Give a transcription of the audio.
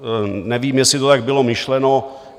Nevím, jestli to tak bylo myšleno.